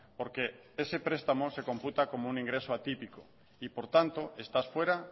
porque ese prestamo se computa como un ingreso atípico y por tanto estás fuera